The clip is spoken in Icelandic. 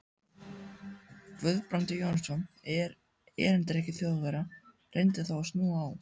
Guðbrandur Jónsson, erindreki Þjóðverja, reyndi þá að snúa á